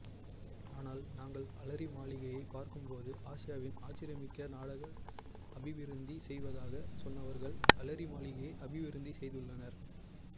ஆனால் நாங்கள் அலரிமாளிகையை பார்க்கும் போது ஆசியாவின் ஆச்சரியமிக்க நாடாக அபிவிருத்தி செய்வதாக சொன்னவர்கள் அலரி மாளிகையை அபிவிருத்தி செய்துள்ளனர்